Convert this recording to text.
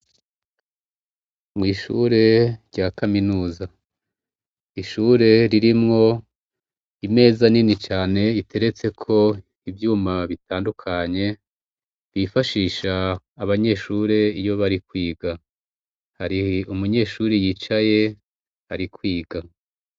Mwishure rya kaminuza ishure ririmwo imeza nini cane riteretseko ivyuma bitandukanye bifashisha abanyeshure iyo bari kwiga hari umunyeshure yicaye ari kwiga